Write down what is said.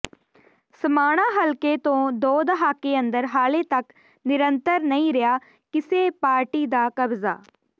ਸਮਾਣਾ ਹਲਕੇ ਤੋਂ ਦੋ ਦਹਾਕੇ ਅੰਦਰ ਹਾਲੇ ਤੱਕ ਨਿਰੰਤਰ ਨਹੀਂ ਰਿਹਾ ਕਿਸੇ ਪਾਰਟੀ ਦਾ ਕਬਜ਼ਾ